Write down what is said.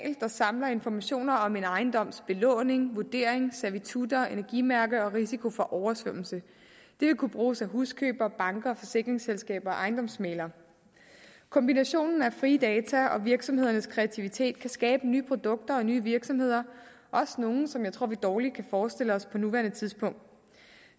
der samler informationer om en ejendoms belåning vurdering servitutter energimærke og risiko for oversvømmelse det vil kunne bruges af huskøbere banker forsikringsselskaber og ejendomsmæglere kombinationen af frie data og virksomhedernes kreativitet kan skabe nye produkter og nye virksomheder også nogle som jeg tror vi dårligt kan forestille os på nuværende tidspunkt